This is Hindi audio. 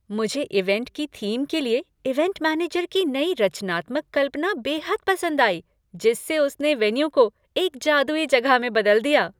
मुझे इवेंट की थीम के लिए इवेंट मैनेजर की नई रचनात्मक कल्पना बेहद पसंद आई जिससे उसने वेन्यू को एक जादुई जगह में बदल दिया।